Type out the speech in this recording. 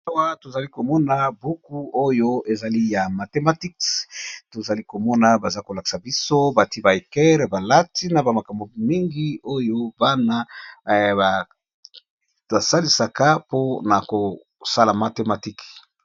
Awa tozali komona buku oyo ezali ya mathematiks, tozali komona baza kolakisa biso bati ba ecaire, ba lati na bamakambo mingi oyo bana basalisaka mpona kosala mathematike.